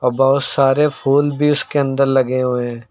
बहुत सारे फूल भी उसके अंदर लगे हुए हैं।